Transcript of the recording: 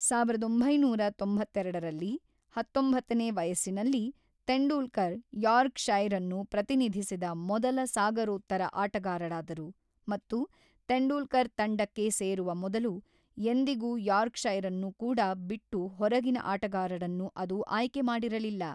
ಸಾವಿರದ ಒಂಬೈನೂರ ತೊಂಬತ್ತೆರಡರಲ್ಲಿ, ಹತ್ತೊಂಬತ್ತನೇ ವಯಸ್ಸಿನಲ್ಲಿ, ತೆಂಡೂಲ್ಕರ್ ಯಾರ್ಕ್‌ಷೈರ್ ಅನ್ನು ಪ್ರತಿನಿಧಿಸಿದ ಮೊದಲ ಸಾಗರೋತ್ತರ ಆಟಗಾರರಾದರು ಮತ್ತು ತೆಂಡೂಲ್ಕರ್ ತಂಡಕ್ಕೆ ಸೇರುವ ಮೊದಲು ಎಂದಿಗೂ ಯಾರ್ಕ್‌ಷೈರ್ ನ್ನು ಕೂಡ ಬಿಟ್ಟು ಹೊರಗಿನ ಆಟಗಾರರನ್ನು ಅದು ಆಯ್ಕೆ ಮಾಡಿರಲಿಲ್ಲ.